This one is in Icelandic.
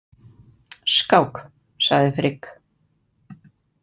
Skák, sagði Frigg.